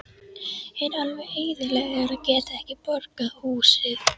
Er alveg eyðilagður að geta ekki borgað húsið.